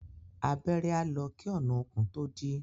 Abẹ́rẹ́ á lọ kí ọ̀nà okùn tó dí.